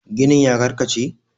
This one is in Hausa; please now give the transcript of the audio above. ginin ya karkace?